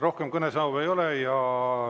Rohkem kõnesoove ei ole.